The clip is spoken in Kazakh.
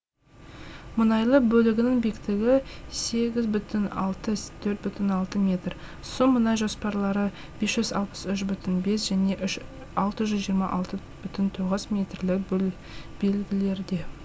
мұнайлы бөлігінің биіктігі сегіз бүтін алты төрт бүтін алты метр су мұнай жоспарлары бес жүз алпыс үш бүтін бес және алты жүз жиырма алты бүтін тоғыз метрлік белгілерде